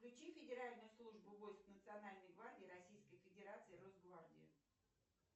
включи федеральную службу войск национальной гвардии российской федерации росгвардии